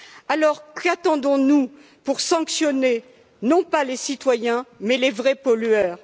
Alors, qu'attendons nous pour sanctionner non pas les citoyens, mais les vrais pollueurs?